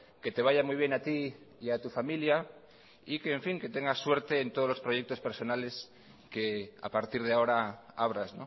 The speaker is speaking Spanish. que te vaya muy bien a ti y a tu familiar y que tengas suerte en todos los proyectos personales que a partir de ahora abras